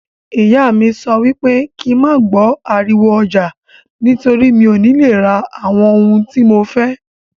Ìyá mí sọ wípé kín ma gbọ ariwo ọjà, torí mí ọ ni le ra àwọn ohun tí mo fẹ́.